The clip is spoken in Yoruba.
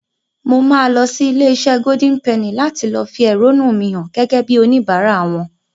Mo máa lọ sí ilé-iṣẹ́ Golden Penny láti fi èrónú mi hàn gẹ́gẹ́ bíi oníbàárà wọn.